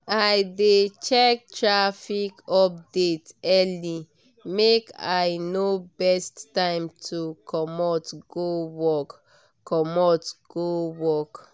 i dey check traffic update early make i know best time to commot go work. commot go work.